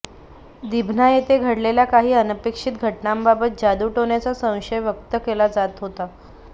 दिभना येथे घडलेल्या काही अनपेक्षित घटनांबाबत जादूटोण्याचा संशय व्यक्त केला जात होता